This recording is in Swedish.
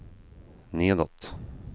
nedåt